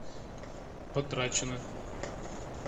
потрачено